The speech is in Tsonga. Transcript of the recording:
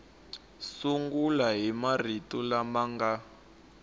sungula hi marito lama nga